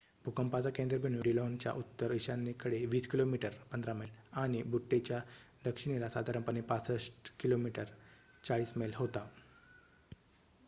भूकंपाचा केंद्रबिंदू डिलॉनच्या उत्तर-ईशान्येकडे २० किमी १५ मैल आणि बुट्टेच्या दक्षिणेला साधारणपणे ६५ किमी ४० मैल होता